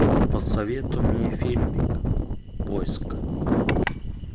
посоветуй мне фильмик поиск